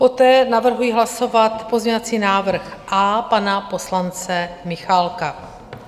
Poté navrhuji hlasovat pozměňovací návrh A pana poslance Michálka.